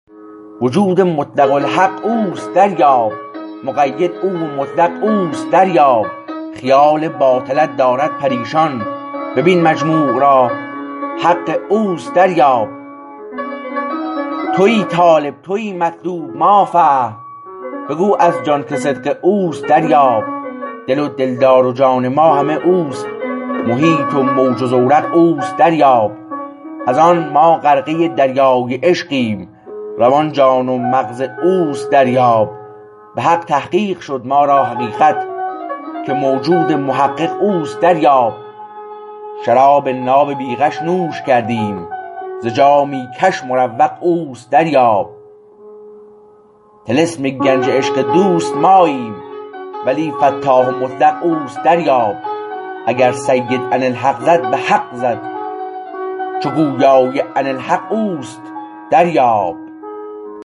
وجود مطلق الحق اوست دریاب مقید او و مطلق اوست دریاب خیال باطلت دارد پریشان ببین مجموع را حق اوست دریاب تویی طالب تویی مطلوب ما فهم بگو از جان که صدق اوست دریاب دل و دلدار و جان ما همه اوست محیط و موج و زورق اوست دریاب از آن ما غرقه دریای عشقیم روان جان و مغز اوست دریاب به حق تحقیق شد ما را حقیقت که موجود محقق اوست دریاب شراب ناب بی غش نوش کردیم ز جامی کش مروق اوست دریاب طلسم گنج عشق دوست ماییم ولی فتاح و مطلق اوست دریاب اگر سید اناالحق زد به حق زد چو گویای اناالحق اوست دریاب